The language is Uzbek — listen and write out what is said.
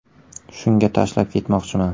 Shunga tashlab ketmoqchiman.